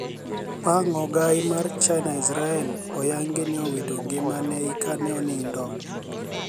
Panig ogai mar chinia israel oyanigi nii owito nigimani e kani e oniinido.